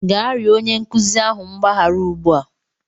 gaa rịọ onye nkuzi ahụ mgbaghara ugbu a!